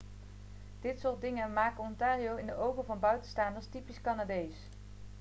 dit soort dingen maken ontario in de ogen van buitenstaanders typisch canadees